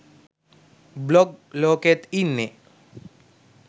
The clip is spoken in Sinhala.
බ්ලොග් ලෝකෙත් ඉන්නෙ